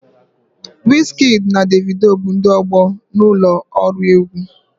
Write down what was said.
Wizkidi na Devido bụ ndị ọgbọ na ụlọ ọrụ egwu.